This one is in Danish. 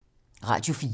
Radio 4